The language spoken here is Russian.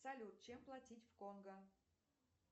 салют чем платить в конго